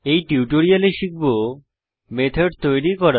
এই টিউটোরিয়ালে শিখব মেথড তৈরী করা